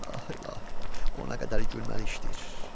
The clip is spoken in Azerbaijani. Ay ilahi, o nə qədər gülməli işdir.